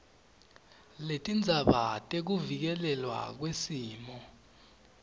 letindzaba tekuvikelelwa kwesimo